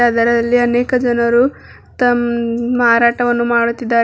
ಅದರಲ್ಲಿ ಅನೇಕ ಜನರು ತಮ್- ಮಾರಾಟವನ್ನು ಮಾಡುತ್ತಿದ್ದಾರೆ.